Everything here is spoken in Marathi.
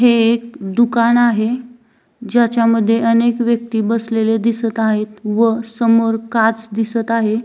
हे एक दुकान आहे ज्याच्यामध्ये अनेक व्यक्ति बसलेले दिसत आहेत व समोर काच दिसत आहे.